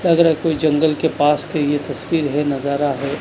लग रहा है कोई जंगल के पास के ये तस्वीर है नजर आ रहे--